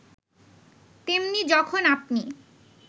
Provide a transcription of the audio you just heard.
তেমনি যখন আপনি